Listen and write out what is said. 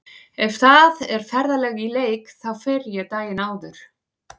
Ef það er ferðalag í leik þá fer ég daginn áður.